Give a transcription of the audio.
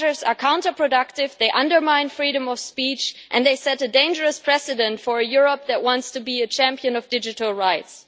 These measures are counterproductive they undermine freedom of speech and they set a dangerous precedent for a Europe that wants to be a champion of digital rights.